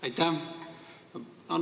Aitäh!